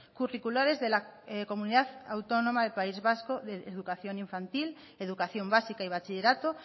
curriculares de la comunidad autónoma del país vasco de educación infantil educación básica y bachillerato